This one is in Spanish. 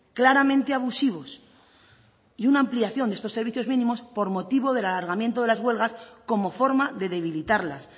claramente abusivos y una ampliación de estos servicios mínimos por motivo del alargamiento de las huelgas como forma de debilitarlas